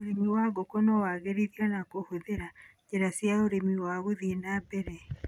Ũrĩmi wa ngũkũ no wagĩrithio na kũhũthĩra njĩra cia ũrĩmi wa gũthĩe na mbere.